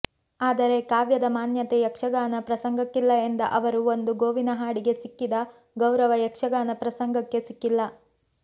ಆದರೆ ಕಾವ್ಯದ ಮಾನ್ಯತೆ ಯಕ್ಷಗಾನ ಪ್ರಸಂಗಕ್ಕಿಲ್ಲ ಎಂದ ಅವರು ಒಂದು ಗೋವಿನ ಹಾಡಿಗೆ ಸಿಕ್ಕಿದ ಗೌರವ ಯಕ್ಷಗಾನ ಪ್ರಸಂಗಕ್ಕೆ ಸಿಕ್ಕಿಲ್ಲ